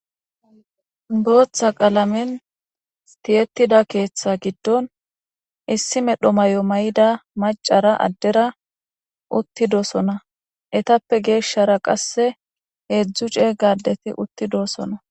booththa qalamen tiyetida keeththa giddon issi medho mayo mayida macara addera uttidosona etappe geeshshara qasse heedzdzu ceega adeti uttidosona